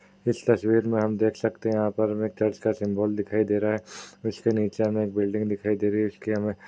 इस तस्वीर में हम देख सकते हैं यहां पर में चर्च का सिम्बोल दिखाई दे रहा है| उसके नीचे हमें एक बिल्डिंग दिखाई दे रही है| इसकी हमें --